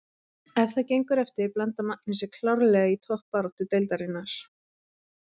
Ef það gengur eftir blandar Magni sér klárlega í toppbaráttu deildarinnar!